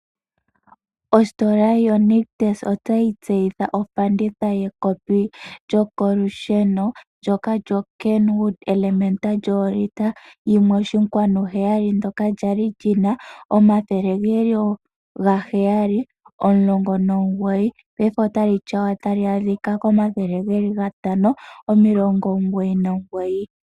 Ositola yoNictus otayi tseyitha ofanditha yekopi lyokolusheno ndyoka lyoKenwood Elementa lyoolitela 1.7 ndyoka lya li li na N$ 719, paife otali tyawa tali adhika koN$ 599.